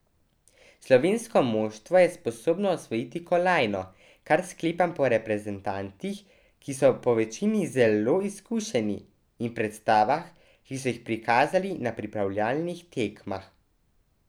Slovensko moštvo je sposobno osvojiti kolajno, kar sklepam po reprezentantih, ki so povečini zelo izkušeni, in predstavah, ki so jih prikazali na pripravljalnih tekmah.